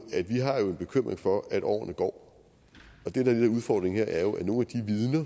bekymring for at årene går udfordringen her er jo at nogle